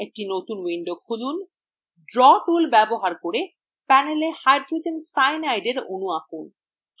একটি নতুন window খুলুন